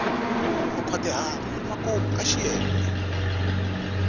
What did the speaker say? u nkhwatihata emakumu ka xiyenge